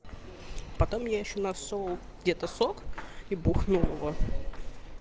потом ещё нас он где то сок и двух нового